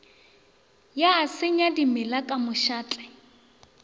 ya senya dimela ka mošate